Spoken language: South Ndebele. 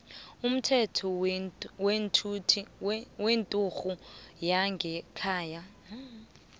umthetho wenturhu yangekhaya